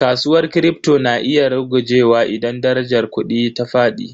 Kasuwar Kripto na iya rugujewa idan darajar kudi ta fadi.